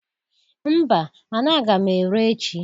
Mba mana aga m ere echi.